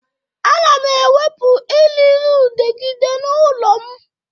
Ana m ewepụ eririudegide n'ụlọ m